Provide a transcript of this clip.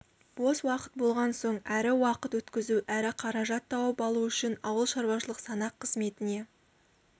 бос уақыт болған соң әрі уақыт өткізу әрі қаражат тауып алу үшін ауылшаруашылық санақ қызметіне